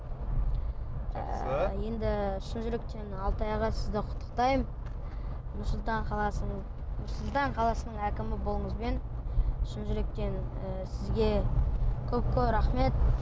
ы енді шын жүректен алтай аға сізді құттықтаймын нұр сұлтан қаласының нұр сұлтан қаласының әкімі болуыңызбен шын жүректен ы сізге көп көп рахмет